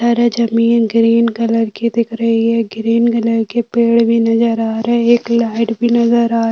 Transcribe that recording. जमीन green colour की दिख रही है ग्रीन कलर के पेड़ भी नज़र आ रहें हैं एक लाइट भी नज़र आ --